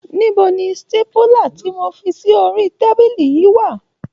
Níbo ni sítépúlà tí mo fi sí orí tábílì yìí wà?